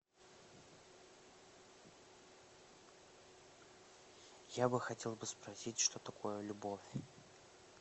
я бы хотел бы спросить что такое любовь